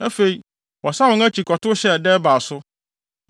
Afei, wɔsan wɔn akyi kɔtow hyɛɛ Debir so.